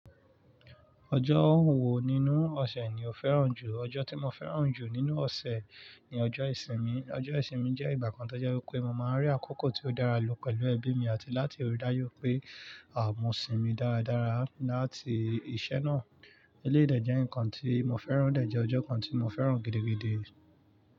Ọjọ́ wo nínú ọ̀sẹ̀ ni o fẹ́ràn jù? Ọjọ́ tí mo fẹ́ràn jù nínú ọ̀sẹ̀ ni ọjọ́ ìsinmi. Ọjọ́ ìsinmi jẹ́ ìgbà kan tó jẹ́ wípé mo máa ń rí àkókò tí ó dára lò pẹ̀lú ẹbí mi àti láti rí dáyọ́ pé àwọn àh mosinmi dára dára láti iṣẹ́ náà. Eleyi dẹ̀ jẹ́ nǹkan tí mo fẹ́ràn, odẹ̀ jẹ́ ọjọ́ kan tí mo fẹ́ràn gidigidi.